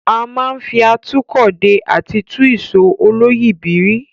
A máa ń fi atúkọ̀ dè àti tú ìsò olóyìíbìrí.